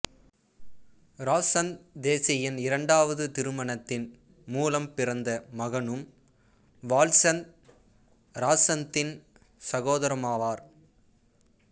இராச்சந்த் தோசியின் இரண்டாவது திருமணத்தின் மூலம் பிறந்த மகனும் வால்சந்த் இராசந்த்தின் சகோதரருமாவார்